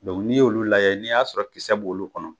n'i y'olu layɛ, n'i y'a sɔrɔ kisɛ b'olu kɔnɔ